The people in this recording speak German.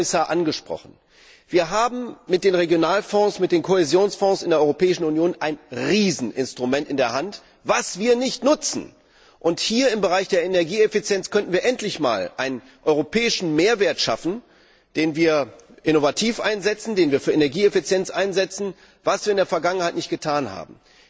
Sie haben es angesprochen, Herr Kommissar Wir haben mit den Regionalfonds, mit den Kohäsionsfonds in der Europäischen Union ein Rieseninstrument in der Hand, das wir nicht nutzen! Hier im Bereich der Energieeffizienz könnten wir endlich einmal einen europäischen Mehrwert schaffen, den wir innovativ einsetzen, für Energieeffizienz einsetzen, was wir in der Vergangenheit nicht getan haben.